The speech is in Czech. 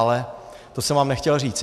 Ale to jsem vám nechtěl říct.